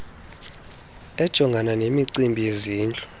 ejongana nemicimbi yezindlu